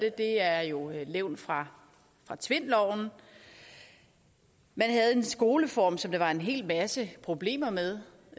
er jo et levn fra tvindloven man havde en skoleform som der var en hel masse problemer med